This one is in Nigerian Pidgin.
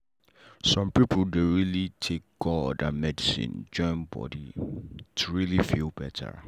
some people dey take god and medicine join body to really feel better.